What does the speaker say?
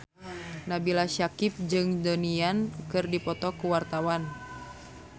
Nabila Syakieb jeung Donnie Yan keur dipoto ku wartawan